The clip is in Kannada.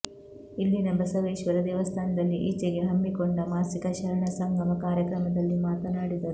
ಇಲ್ಲಿನ ಬಸವೇಶ್ವರ ದೇವಸ್ಥಾನದಲ್ಲಿ ಈಚೆಗೆ ಹಮ್ಮಿಕೊಂಡ ಮಾಸಿಕ ಶರಣ ಸಂಗಮ ಕಾರ್ಯಕ್ರಮದಲ್ಲಿ ಮಾತನಾಡಿದರು